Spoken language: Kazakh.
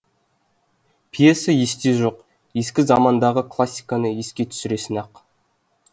пьеса есте жоқ ескі замандағы классиканы еске түсірсін ақ